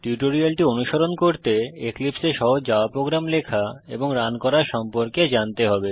টিউটোরিয়ালটি অনুসরণ করতে এক্লিপসে এ সহজ জাভা প্রোগ্রাম লেখা এবং রান করা সম্পর্কে জানতে হবে